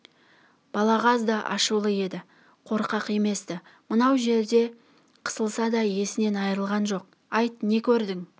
балағаз да ашулы еді қорқақ емес-ті мынау жерде қысылса да есінен айырылған жоқ айт не көрдің